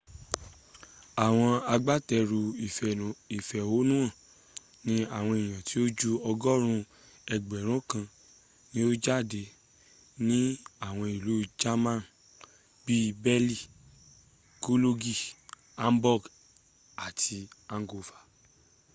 àwọn agbátẹrù ìfẹ̀hónúhàn ní àwọn èèyàn tó ju ọgọ́rùn ún ẹgbẹ̀rún kan ni o jáde ní àwọn ìlú german bí i berlin cologne hamburg àti hanover